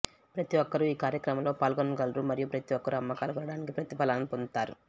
ప్రతి ఒక్కరూ ఈ కార్యక్రమంలో పాల్గొనగలరు మరియు ప్రతి ఒక్కరూ అమ్మకాలు పెరగడానికి ప్రతిఫలాలను పొందుతారు